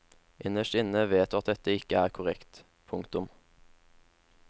Innerst inne vet du at dette ikke er korrekt. punktum